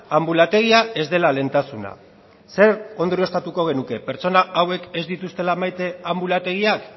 anbulategia ez dela lehentasuna zer ondorioztatuko genuke pertsona hauek ez dituztela maite anbulategiak